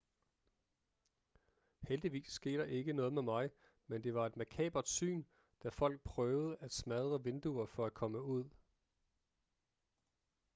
heldigvis skete der ikke noget med mig men det var et makabert syn da folk prøvede at smadre vinduer for at komme ud